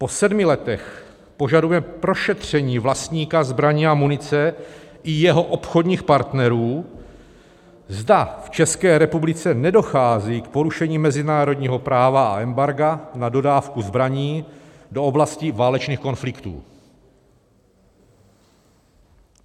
Po sedmi letech požadujeme prošetření vlastníka zbraní a munice i jeho obchodních partnerů, zda v České republice nedochází k porušení mezinárodního práva a embarga na dodávku zbraní do oblastí válečných konfliktů.